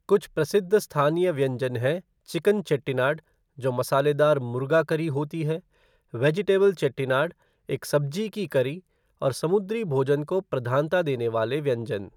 कुछ प्रसिद्ध स्थानीय व्यंजन हैं चिकन चेट्टिनाड जो मसालेदार मुर्गा करी होती है, वेजिटेबल चेट्टिनाड, एक सब्जी की करी, और समुद्री भोजन को प्रधानता देने वाले व्यंजन।